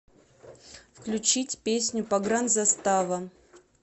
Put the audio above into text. включить песню погранзастава